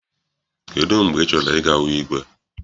Kedụ mgbe ị chọrọ I ga hụ igwe?